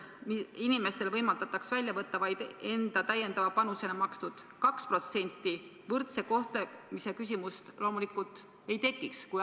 Kui inimestel võimaldataks välja võtta vaid enda täiendava panusena makstud 2%, siis võrdse kohtlemise küsimust loomulikult ei tekiks.